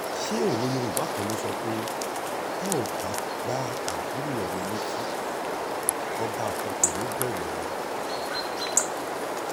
ṣé òwe yorùbá kan ló sọ pé tá ò bá gba àbúrò ẹni létí ọbàkan kò ní í bẹ̀rù ẹni